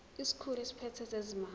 isikhulu esiphethe ezezimali